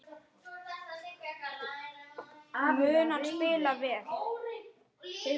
Mun hann spila vel?